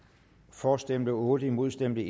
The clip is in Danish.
for stemte otte imod stemte